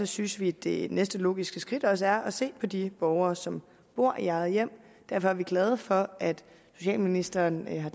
synes vi det næste logiske skridt også er at se på de borgere som bor i eget hjem og derfor er vi glade for at socialministeren har